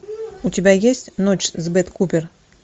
у тебя есть ночь с бет купер